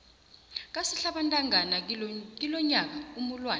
kasihlabantangana kilonyaka umulwana